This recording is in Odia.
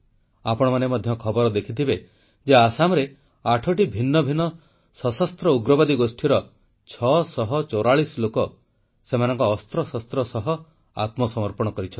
ଆପଣମାନେ ମଧ୍ୟ ଖବର ଦେଖିଥିବେ ଯେ ଆସାମରେ 8ଟି ଭିନ୍ନ ଭିନ୍ନ ସଶସ୍ତ୍ର ଉଗ୍ରବାଦୀ ଗୋଷ୍ଠୀର 644 ଲୋକ ସେମାନଙ୍କ ଅସ୍ତ୍ରଶସ୍ତ୍ର ସହ ଆତ୍ମସମର୍ପଣ କରିଛନ୍ତି